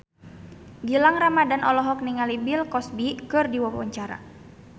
Gilang Ramadan olohok ningali Bill Cosby keur diwawancara